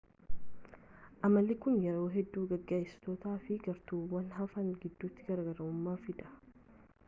amalli kun yeroo hedduu geggeessitootaafi gartuuwwan hafan gidduutti garaagarummaa fida